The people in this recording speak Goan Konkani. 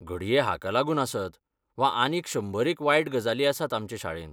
घडये हाका लागून आसत वा आनीक शंबरेक वायट गजाली आसात आमचे शाळेंत.